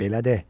Belə de!